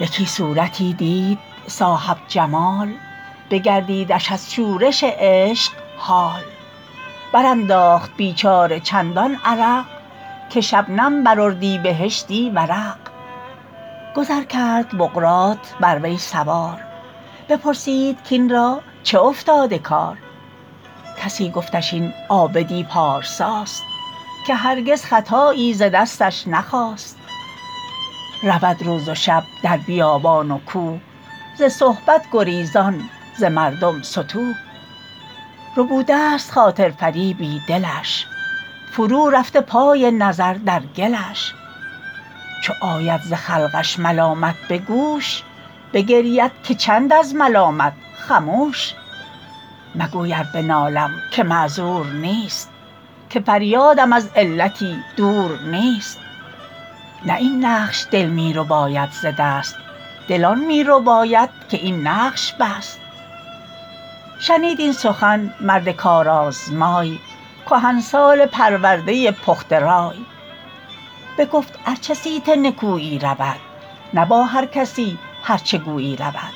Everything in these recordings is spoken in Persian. یکی صورتی دید صاحب جمال بگردیدش از شورش عشق حال بر انداخت بیچاره چندان عرق که شبنم بر اردیبهشتی ورق گذر کرد بقراط بر وی سوار بپرسید کاین را چه افتاده کار کسی گفتش این عابد ی پارسا ست که هرگز خطایی ز دستش نخاست رود روز و شب در بیابان و کوه ز صحبت گریزان ز مردم ستوه ربوده ست خاطر فریبی دلش فرو رفته پای نظر در گلش چو آید ز خلقش ملامت به گوش بگرید که چند از ملامت خموش مگوی ار بنالم که معذور نیست که فریاد م از علتی دور نیست نه این نقش دل می رباید ز دست دل آن می رباید که این نقش بست شنید این سخن مرد کار آزمای کهنسال پرورده پخته رای بگفت ار چه صیت نکویی رود نه با هر کسی هر چه گویی رود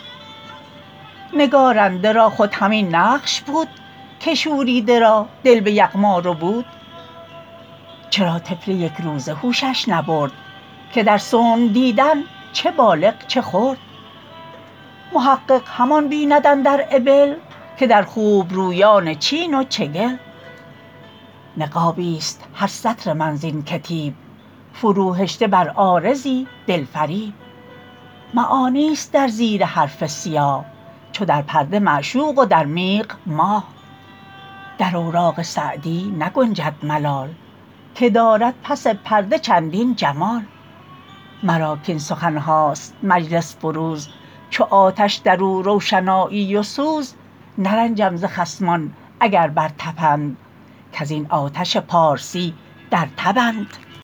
نگارنده را خود همین نقش بود که شوریده را دل به یغما ربود چرا طفل یک روزه هوشش نبرد که در صنع دیدن چه بالغ چه خرد محقق همان بیند اندر ابل که در خوبرویان چین و چگل نقابی است هر سطر من زین کتیب فرو هشته بر عارضی دل فریب معانی است در زیر حرف سیاه چو در پرده معشوق و در میغ ماه در اوراق سعدی نگنجد ملال که دارد پس پرده چندین جمال مرا کاین سخن هاست مجلس فروز چو آتش در او روشنایی و سوز نرنجم ز خصمان اگر بر تپند کز این آتش پارسی در تبند